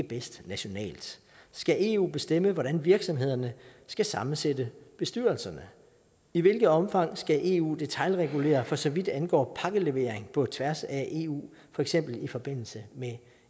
bedst nationalt skal eu bestemme hvordan virksomhederne skal sammensætte bestyrelserne i hvilket omfang skal eu detailregulere for så vidt angår pakkelevering på tværs af eu for eksempel i forbindelse med